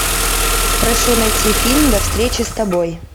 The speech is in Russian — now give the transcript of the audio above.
прошу найти фильм до встречи с тобой